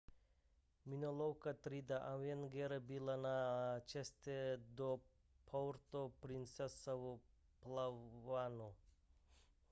minolovka třídy avenger byla na cestě do puerto princesa v palawanu